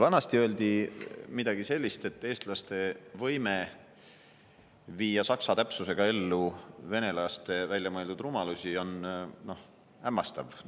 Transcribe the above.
Vanasti öeldi midagi sellist, et eestlaste võime viia saksa täpsusega ellu venelaste väljamõeldud rumalusi on hämmastav.